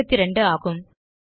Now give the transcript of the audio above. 72 ஆகும்